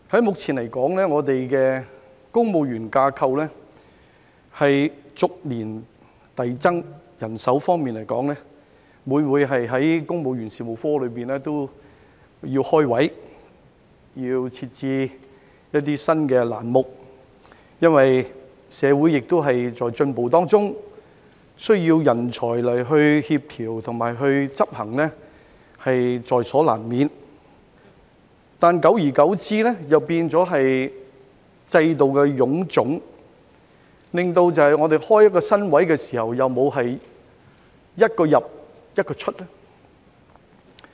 目前來說，我們的公務員架構逐年遞增，人手方面每每要公務員事務局開設職位、設置新欄目，因為社會亦在進步當中，需要人才來協調和執行政策，在所難免，但久而久之又變成制度的臃腫，令我們開設一個新職位時沒有"一個入，一個出"。